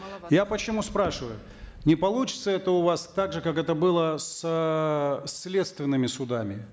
я почему спрашиваю не получится это у вас так же как это было с эээ следственными судами